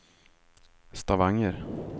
Stavanger